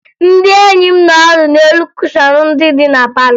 Ndị enyi m nọ ọdụ n'elu kushọn ndị dị na palọ